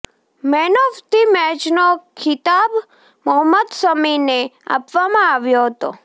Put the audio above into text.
man of the મૅચનો ખિતાબ મોહમ્મદ શમીને આપવામાં આવ્યો હતો